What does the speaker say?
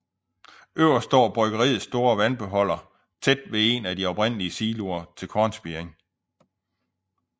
Øverst står bryggeriets store vandbeholder tæt ved en af de oprindelige siloer til kornspiring